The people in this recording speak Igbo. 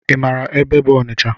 I maara ebe bụ Ọnịcha?